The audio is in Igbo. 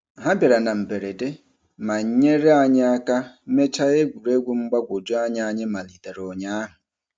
Ha bịara na mberede ma nyere anyị aka mechaa egwuregwu mgbagwojuanya anyị malitere ụnyaahụ.